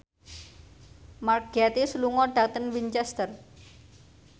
Mark Gatiss lunga dhateng Winchester